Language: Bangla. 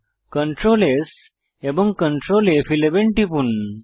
Ctrl S এবং Ctrl ফ11 টিপুন